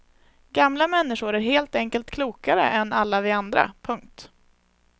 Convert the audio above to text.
Gamla människor är helt enkelt klokare än alla vi andra. punkt